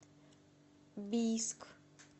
бийск